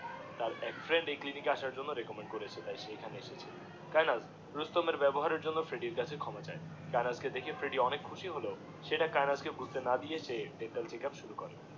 তার এক ফ্রেন্ড এই ক্লিনিক রেকোমেন্ড করেছে তাই সে এখানে এসেছে কায়েনাথ রুস্তমের বেবহার এর জন্যে ফ্রেড্ডির কাছে ক্ষমা চায়ে কায়েনাথ কে ডেকেছে ফ্রেডি অনেক খসি সে কায়েনাথ কে বায়ুতে না দিয়ে তার ডেন্টাল চেকআপ শুরু করে